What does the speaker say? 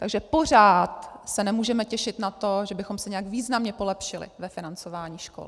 Takže pořád se nemůžeme těšit na to, že bychom se nějak významně polepšili ve financování škol.